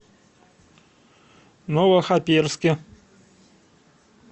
новохоперске